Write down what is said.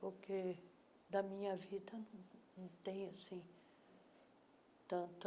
Porque da minha vida não tem, assim, tanto